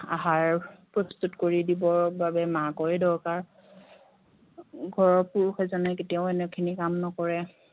আহাৰ প্ৰস্তুত কৰি দিবৰ বাবে মাকৰে দৰকাৰ ঘৰৰ পুৰুষ এজনে কেতিয়াওঁ এনেখিনি কাম নকৰে